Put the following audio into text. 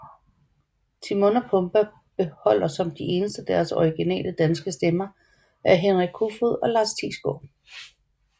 Timon og Pumba beholder som de eneste deres originale danske stemmer af Henrik Koefoed og Lars Thiesgaard